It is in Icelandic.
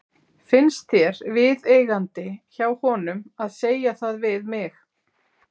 Finnst þér viðeigandi hjá honum að segja það við mig?